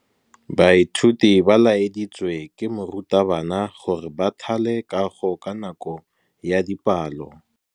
Baithuti ba laeditswe ke morutabana gore ba thale kagô ka nako ya dipalô.